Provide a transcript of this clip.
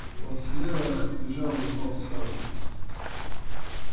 он слева бежал упал сразу